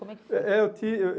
Como é que foi? Eh eh eu tinha